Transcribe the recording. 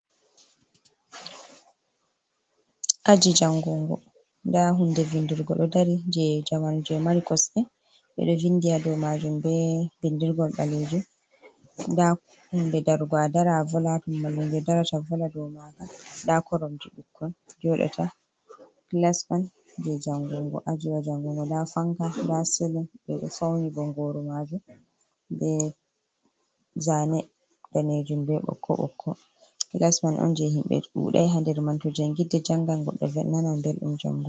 Aji jangungo, nda hunde vindirgo ɗo dari je jamanu je mari kosɗe, ɓeɗo vindi ha dou majum be bindirgol ɓalejum, nda hunde darugo a dara a vola ha ton mallumjo darata vola dou maga, nda koromje ɓikkoi joɗata, class on je jangungo, ajiwa jangungo, nda fanka nda slin, ɓe ɗo fauni bongoru majum be zane danejum, be ɓokko ɓokko, clasman on je himɓe ɗuɗai ha nder mai to jangirde jangan goɗɗo nanan ɓeldum jangugo.